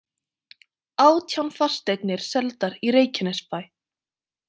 Átján fasteignir seldar í Reykjanesbæ